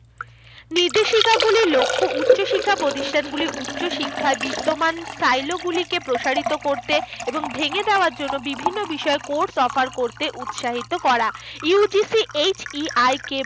নির্দেশিকাগুলির লক্ষ্য উচ্চশিক্ষা প্রতিষ্ঠানগুলি উচ্চশিক্ষার বিদ্যমান গুলিকে প্রসারিত করতে এবং ভেঙে দেওয়ার জন্য বিভিন্ন বিষয়ে course offer করতে উৎসাহিত করা। UGCHEIK